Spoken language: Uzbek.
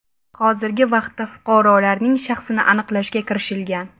Hozirgi vaqtda fuqarolarning shaxsini aniqlashga kirishilgan.